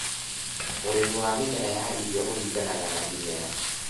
Urĩmi wa mĩmera ya irio ũringanaga na imera